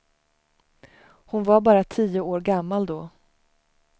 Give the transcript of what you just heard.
Hon var bara tio år gammal då.